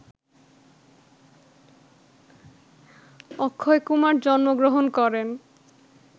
অক্ষয়কুমার জন্মগ্রহণ করেন